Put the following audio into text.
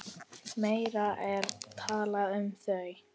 Meira er talað um þau.